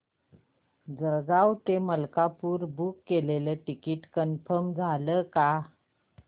जळगाव ते मलकापुर बुक केलेलं ticket confirm झालं का